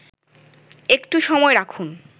একটু সময় রাখুন